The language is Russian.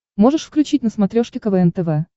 можешь включить на смотрешке квн тв